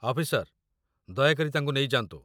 officer, ଦୟାକରି ତାଙ୍କୁ ନେଇଯାଆନ୍ତୁ